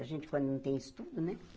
A gente quando não tem estudo, né?